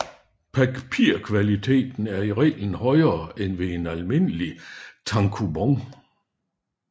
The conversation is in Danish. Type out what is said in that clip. Papirkvaliteten er i reglen højere end ved en almindelig tankoubon